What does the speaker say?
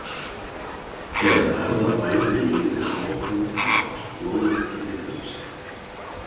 Eða verða bæði liðin áfram með allt lóðrétt niðrum sig?